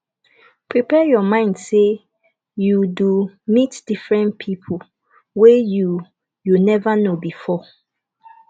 prepare your mind sey you do meet different pipo wey you you nova know before